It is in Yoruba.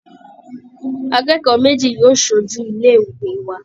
Akẹ́kọ̀ọ́ méjì yóò ṣojú ilé ìwé wa